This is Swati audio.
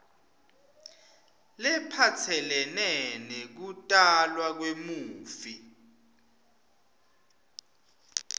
lephatselene nekutalwa kwemufi